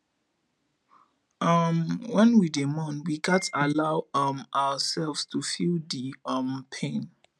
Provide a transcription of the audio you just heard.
um wen we dey mourn we gats allow um ourselves to feel di um pain